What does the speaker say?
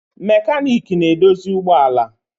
Mekaniiki na-edozi ụgbọ ala.